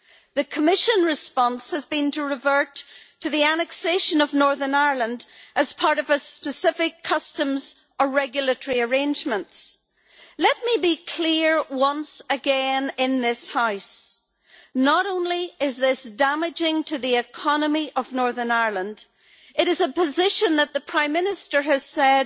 The Commission response has been to revert to the annexation of Northern Ireland as part of specific customs or regulatory arrangements. Let me be clear once again in this House not only is this damaging to the economy of Northern Ireland, it is a position that the Prime Minister has said